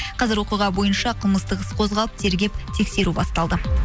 қазір оқиға бойынша қылмыстық іс қозғалып тергеп тексеру басталды